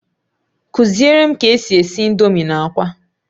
Kuzierem ka esi esi indomie na akwa